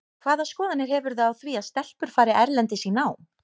Hvaða skoðanir hefurðu á því að stelpur fari erlendis í nám?